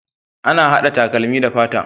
Ana hada takalmi da fata